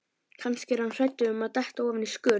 Kannski er hann hræddur um að detta ofan í skurð.